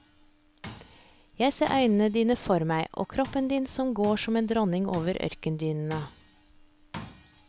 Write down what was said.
Jeg ser øynene dine for meg og kroppen din som går som en dronning over ørkendynene.